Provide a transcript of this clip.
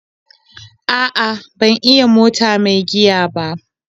A'a ban iya mota mai giya ba.